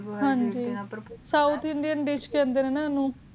ਹਨ ਜੀ ਸੋ ਟੀਂਡੇ ਏਨ੍ਦਿਸ਼ ਦੇ ਅੰਦਰ ਹਾਨਾ ਜੀ